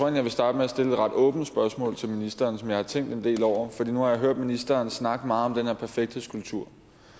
jeg vil starte med at stille et ret åbent spørgsmål til ministeren som jeg har tænkt en del over nu har jeg hørt ministeren snakke meget om den her perfekthedskultur